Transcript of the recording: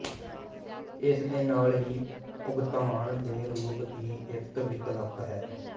ਇਸ ਦੇ ਨਾਲ ਹੀ ਭੁਗਤਾਨ ਦੇ ਰੂਪ ਦੀ ਇੱਕ ਵਿਕਲਪ ਹੈ